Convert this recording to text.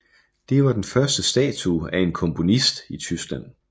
Det var den første statue af en komponist i Tyskland